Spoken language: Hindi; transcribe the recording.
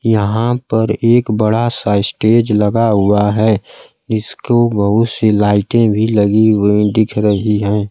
यहां पर एक बड़ा सा स्टेज लगा हुआ है इसको बहुत सी लाईटें भी लगी हुई दिख रही है।